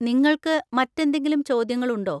നിങ്ങൾക്ക് മറ്റെന്തെങ്കിലും ചോദ്യങ്ങളുണ്ടോ?